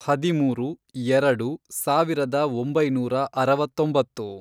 ಹದಿಮೂರು, ಎರೆಡು, ಸಾವಿರದ ಒಂಬೈನೂರ ಅರವತ್ತೊಂಬತ್ತು